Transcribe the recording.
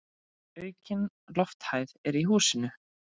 Aukin lofthæð er í húsinu.